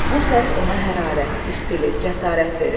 Bu səs ona hərarət, istilik, cəsarət verir.